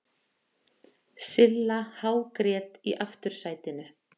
Silla hágrét í aftursætinu.